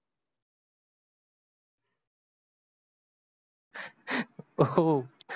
हो,